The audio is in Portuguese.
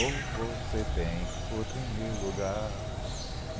Ou você tem outro em meu lugar?